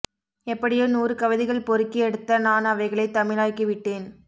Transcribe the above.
எப்படியோ நூறு கவிதைகள் பொறுக்கி எடுத்த நான் அவைகளைத் தமிழாக்கி விட்டேன்